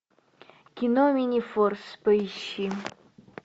кино минифорс поищи